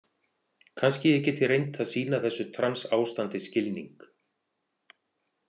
Kannski ég geti reynt að sýna þessu trans- ástandi skilning.